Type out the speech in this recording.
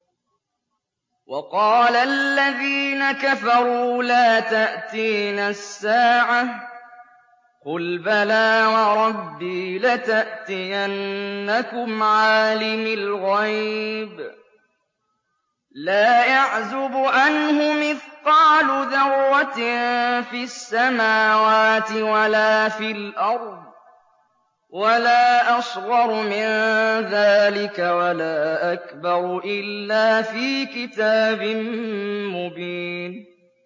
وَقَالَ الَّذِينَ كَفَرُوا لَا تَأْتِينَا السَّاعَةُ ۖ قُلْ بَلَىٰ وَرَبِّي لَتَأْتِيَنَّكُمْ عَالِمِ الْغَيْبِ ۖ لَا يَعْزُبُ عَنْهُ مِثْقَالُ ذَرَّةٍ فِي السَّمَاوَاتِ وَلَا فِي الْأَرْضِ وَلَا أَصْغَرُ مِن ذَٰلِكَ وَلَا أَكْبَرُ إِلَّا فِي كِتَابٍ مُّبِينٍ